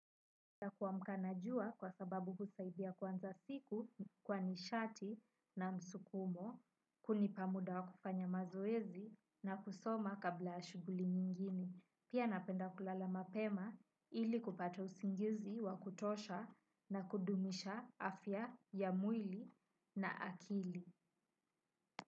Kuamka na jua kwa sababu husaidia kuanza siku kwa nishati na msukumo hunipa muda wa kufanya mazoezi na kusoma kabla ya shughuli nyingini. Pia napenda kulala mapema ili kupata usingizi wa kutosha na kudumisha afya ya mwili na akili.